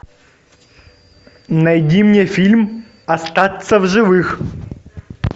найди мне фильм остаться в живых